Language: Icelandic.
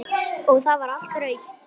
Og það var allt rautt.